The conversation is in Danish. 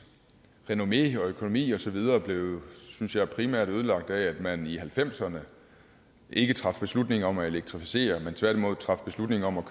renommé og økonomi og så videre blev synes jeg primært ødelagt af at man i nitten halvfemserne ikke traf beslutning om at elektrificere men tværtimod traf beslutning om at